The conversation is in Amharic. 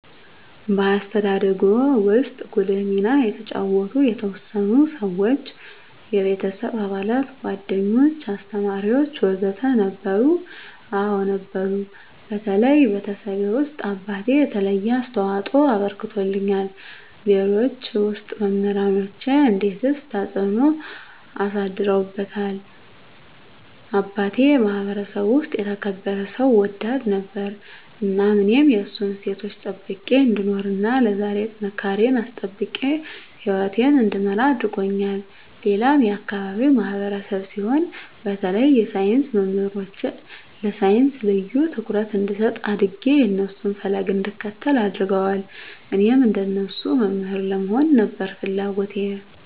በአስተዳደግዎ ውስጥ ጉልህ ሚና የተጫወቱ የተወሰኑ ሰዎች (የቤተሰብ አባላት፣ ጓደኞች፣ አስተማሪዎች ወዘተ) ነበሩ? አዎ ነበሩ በተለይ ቤተሰቤ ውስጥ አባቴ የተለየ አስተዋፅኦ አበርክቶልኛል ሌሎች ውስጥ መምራኖቼ እንዴትስ ተጽዕኖ አሳድረውብዎታል አባቴ የማህበረሰቡ ውስጥ የተከበረ ሰው ወዳድ ነበር እናም እኔም የእሱን እሴቶች ጠብቄ እንድኖር እና ለዛሬ ጥንካሬየን አስጠብቄ ህይወቴን እንድመራ አድርጎኛል ሌላም የአካባቢው ማህበረሰብ ሲሆን በተለይ የሳይንስ መምህሮቼ ለሳይንስ ልዬ ትኩረት እንድሰጥ አድጌ የእነሱን ፈለግ እንድከተል አድርገዋል እኔም እንደነሱ መምህር ለመሆን ነበር ፍለጎቴ